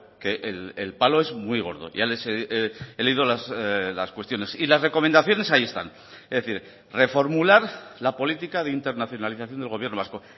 que el palo es muy gordo ya les he he leído las cuestiones y las recomendaciones ahí están es decir reformular la política de internacionalización del gobierno vasco